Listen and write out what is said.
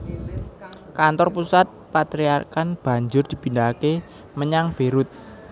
Kantor pusat patriarkat banjur dipindhahaké menyang Beirut